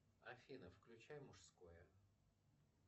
афина включай мужское